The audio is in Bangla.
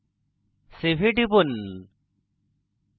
save এ টিপুন